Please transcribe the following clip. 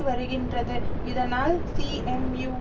வருகின்றது இதனால் சீஎம்யூ